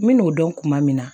N bɛ n'o dɔn kuma min na